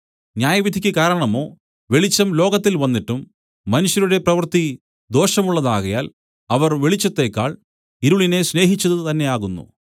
ന്യായവിധിയ്ക്ക് കാരണമോ വെളിച്ചം ലോകത്തിൽ വന്നിട്ടും മനുഷ്യരുടെ പ്രവൃത്തി ദോഷമുള്ളത് ആകയാൽ അവർ വെളിച്ചത്തേക്കാൾ ഇരുളിനെ സ്നേഹിച്ചത് തന്നെയാകുന്നു